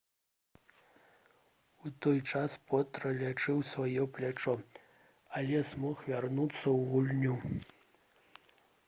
у той час потра лячыў сваё плячо але змог вярнуцца ў гульню